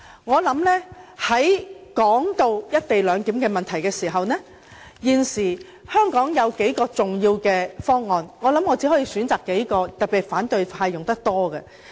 談到"一地兩檢"的問題，現時香港有數項重要方案，我想選擇數項，特別是反對派較常使用的方案作解釋。